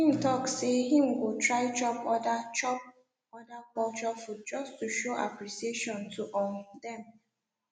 him talk say him go try chop other chop other culture food just to show appreciation to um dem